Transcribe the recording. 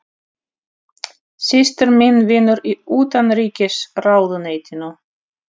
Systir mín vinnur í Utanríkisráðuneytinu.